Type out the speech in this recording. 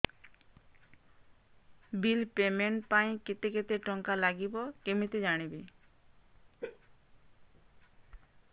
bill payment ପାଇଁ କେତେ କେତେ ଟଙ୍କା ଲାଗିବ କେମିତି ଜାଣିବି